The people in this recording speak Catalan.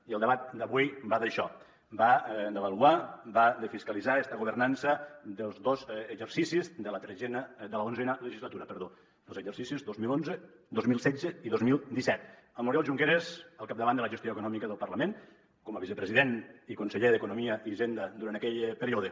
i el debat d’avui va d’això va d’avaluar va de fiscalitzar esta governança dels dos exercicis de l’onzena legislatura els exercicis dos mil onze dos mil setze i dos mil disset amb l’oriol junqueras al capdavant de la gestió econòmica del parlament com a vicepresident i conseller d’economia i hisenda durant aquell període